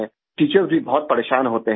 teacher भी परेशान होते हैं